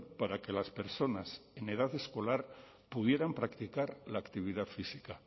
para que las personas en edad escolar pudieran practicar la actividad física